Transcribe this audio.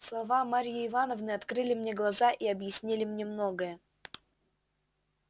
слова марьи ивановны открыли мне глаза и объяснили мне многое